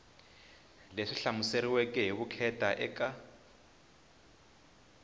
leyi hlamuseriweke hi vukheta eka